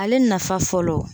Ale nafa fɔlɔ